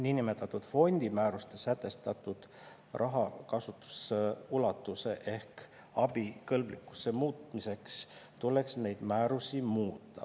Nn fondimäärustes sätestatud kasutusulatuse ehk abikõlblikkuse muutmiseks tuleks neid määrusi muuta.